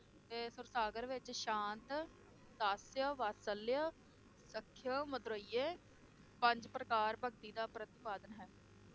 ਤੇ ਸੂਰਸਾਗਰ ਵਿਚ ਸ਼ਾਂਤ, ਦਾਸਯ, ਵਾਤਸਲਯ, ਸਖਯ, ਮਧੁਰਯੈ, ਪੰਜ ਪ੍ਰਕਾਰ ਭਗਤੀ ਦਾ ਪ੍ਰਤਿਪਾਦਨ ਹੈ।